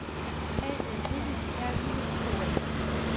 A M E R I K A